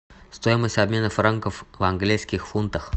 стоимость обмена франков в английских фунтах